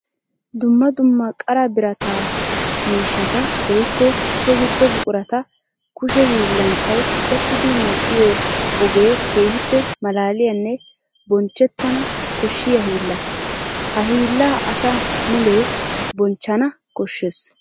Dumma dumma qara biratta miishatta woykko so gido buquratta kushe hiillanchchay qoxxiddi medhdhiyo ogee keehippe malaalliyanne bonchchettanna koshshiya hiilla. Ha hiillaa asaa mule bonchchanna koshees.